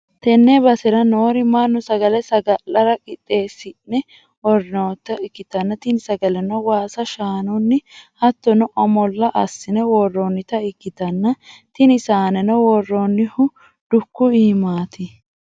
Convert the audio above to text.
tenne basera noori mannu sagale saga'lara qiixxeessi'ne worroonnita ikkitanna, tini sagaleno waasa shaanunni hattono omolla assi'ne worroonnita ikkitanna, tini saaneno worroonnihu dukku iimaati.